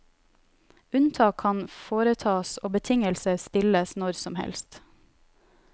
Unntak kan foretas og betingelser stilles når som helst.